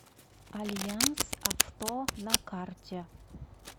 альянс авто на карте